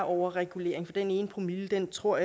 overregulering for den ene promille tror